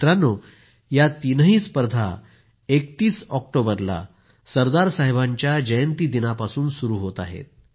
मित्रांनो या तिन्ही स्पर्धा 31 ऑक्टोबरला सरदार साहेबांच्या जयंतीदिनापासून सुरू होत आहेत